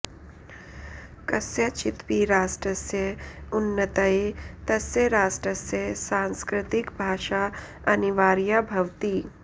कस्यचिदपि राष्ट्रस्य उन्नत्यै तस्य राष्ट्रस्य सांस्कृतिकभाषा अनिवार्या भवति